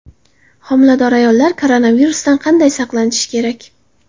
Homilador ayollar koronavirusdan qanday saqlanishi kerak?